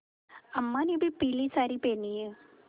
अम्मा ने भी पीली सारी पेहनी है